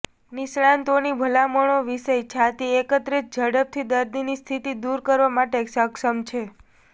નિષ્ણાતોની ભલામણો વિષય છાતી એકત્રિત ઝડપથી દર્દીની સ્થિતિ દૂર કરવા માટે સક્ષમ છે